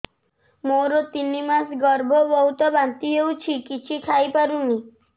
ମୋର ତିନି ମାସ ଗର୍ଭ ବହୁତ ବାନ୍ତି ହେଉଛି କିଛି ଖାଇ ପାରୁନି